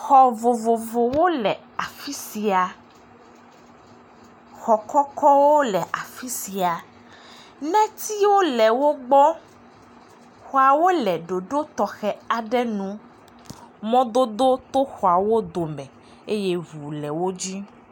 Xɔ vovovowo le afi sia. Xɔ kɔkɔkwo le afi sia. Netsiwo le wo gbɔ. Xɔawo le ɖoɖo tɔxɛ aɖe nu. Mɔdodo to xɔawo dome eye ŋu le wo dzi.